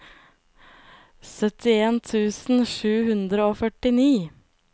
syttien tusen sju hundre og førtini